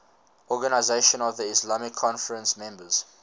organisation of the islamic conference members